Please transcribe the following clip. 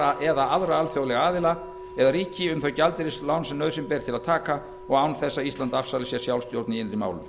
alþjóðagjaldeyrissjóðinn eða aðra alþjóðlega aðila eða ríki um þau gjaldeyrislán sem nauðsyn ber til að taka og án þess að ísland afsali sér sjálfsstjórn